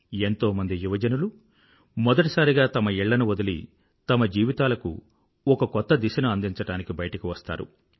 ఎంతోమంది యువజనులు మొదటిసారిగా తమ ఇళ్ళను వదిలి తమ జీవితాలకు ఒక కొత్త దిశను అందించడానికి బయటకు వస్తారు